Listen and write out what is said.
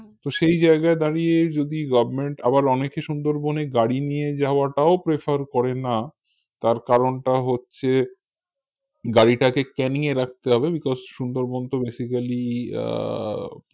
তো সেই জায়গায় দাঁড়িয়ে যদি government আবার অনেকে সুন্দরবনে গাড়ি নিয়ে যাওয়াটাও prefer করেনা তার কারণটা হচ্ছে গাড়িটাকে ক্যানিং এ রাখতে হবে because সুন্দরবন তো basically আহ